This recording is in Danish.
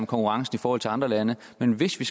om konkurrence i forhold til andre lande men hvis vi